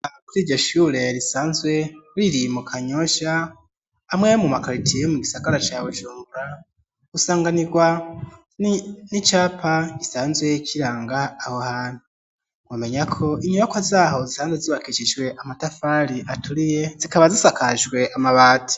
Kuri iryo shure risanzwe riri mu kanyosha amwe mu makaritiye yo mu gisagara ca bujumbura gusanganirwa n'icapa risanzwe kiranga aho hantu nomenya ko inyoyo ko zaho zisanzwe zibakisijwe amatafari aturiye zikaba zisakajwe amabati.